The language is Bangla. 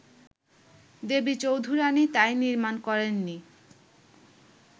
দেবী চৌধুরাণী তাই নির্মাণ করেননি